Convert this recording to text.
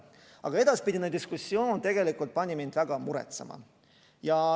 Aga edasine diskussioon pani mind väga muretsema.